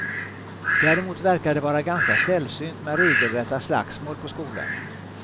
Däremot verkar det vara ganska sällsynt med regelrätta slagsmål på skolan.